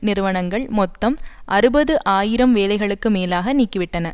நிறுவனங்கள் மொத்தம் அறுபது ஆயிரம் வேலைகளுக்கு மேலாக நீக்கிவிட்டன